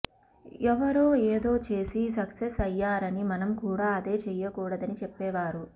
ఎవరో ఏదో చేసి సక్సెస్ అయ్యారని మనం కూడా అదే చేయకూడదని చెప్పేవారు